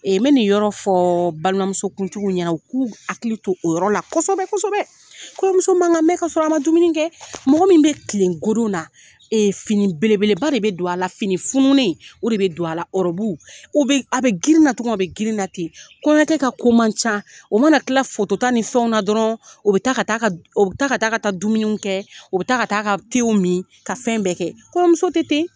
n bɛ nin yɔrɔ fɔ balima muso kuntigi ɲɛna, u k'u hakili to o yɔrɔ la kosɛbɛ kosɛbɛ. Kɔɲɔmuso man kan mɛn ka sɔrɔ a ma dumuni kɛ. Mɔgɔ min bɛ kilen godona, fini belebeleba de bɛ don a la, fini fununen o de bɛ don a la, ɔrɔbu o bɛ a bɛ girinna cogo min a bɛ girinna ten. Kɔɲɔkɛ ka ko man ca. O mana kila foto ta ni fɛnw na dɔrɔn, o bɛ taa ka taa o bɛ taa ka taa dumuniw kɛ u bɛ taa ka taa ka tew min ka fɛn bɛɛ kɛ. Kɔɲɔmuso tɛ ten.